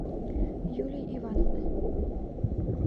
юлии ивановны